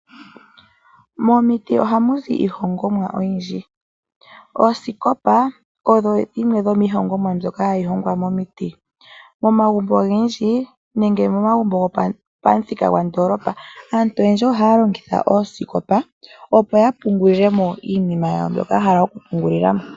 Momiti ohamu zi iihongomwa oyindji . Oosikopa odho shimwe dhomiihongomwa mbyoka hayi hongwa momiti . Momagumbo ogendji nenge momagumbo gopamuthika gwandoolopa aantu oyendji ohaya longitha oosikopa opo yapungulemo iinima yawo mbyoka ya hala okupungulilamo.